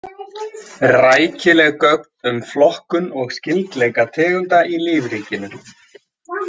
Rækileg gögn um flokkun og skyldleika tegunda í lífríkinu.